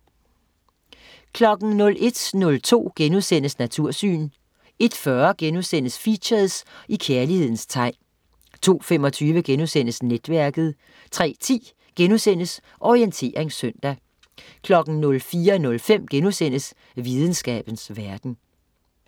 01.02 Natursyn* 01.40 Features: I kærlighedens tegn* 02.25 Netværket* 03.10 Orientering søndag* 04.05 Videnskabens verden*